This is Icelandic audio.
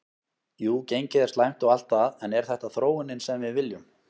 Jú gengið er slæmt og allt það en er þetta þróunin sem við viljum?